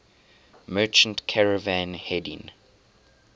merchant caravan heading